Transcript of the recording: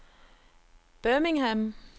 Birmingham